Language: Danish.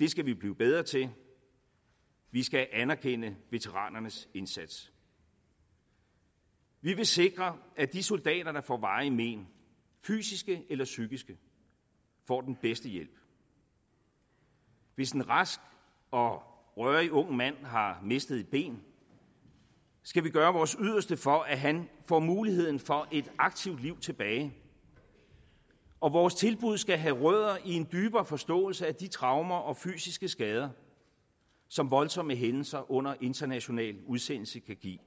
det skal vi blive bedre til vi skal anerkende veteranernes indsats vi vil sikre at de soldater der får varige men fysiske eller psykiske får den bedste hjælp hvis en rask og rørig ung mand har mistet et ben skal vi gøre vores yderste for at han får muligheden for et aktivt liv tilbage og vores tilbud skal have rødder i en dybere forståelse af de traumer og fysiske skader som voldsomme hændelser under international udsendelse kan give